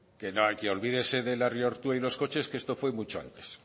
que no olvídese del y los coches que esto fue mucho antes